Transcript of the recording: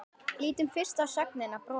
Lítum fyrst á sögnina brosa: